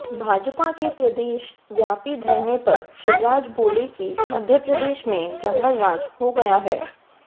भाजपा के प्रदेश व्यापी धरने पर शिवराज बोले कि मध्यप्रदेश में जंगलराज हो गया है